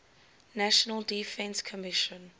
national defense commission